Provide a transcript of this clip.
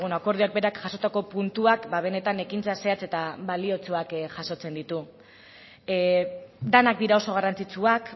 akordioak berak jasotako puntuak benetan ekintza zehatz eta baliotsuak jasotzen ditu denak dira oso garrantzitsuak